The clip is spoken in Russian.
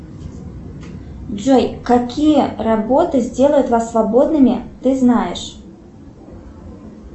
джой какие работы сделают вас свободными ты знаешь